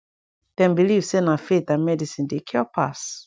dem believe say na faith and medicine dey cure pass